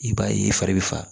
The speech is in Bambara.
I b'a ye i fari bi faga